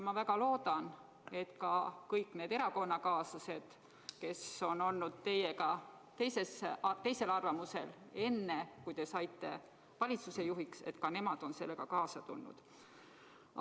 Ma väga loodan, et ka kõik need teie erakonnakaaslased, kes enne seda, kui te saite valitsuse juhiks, olid teisel arvamusel, on sellega kaasa tulnud.